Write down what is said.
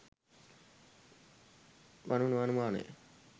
වනු නොඅනුමානය.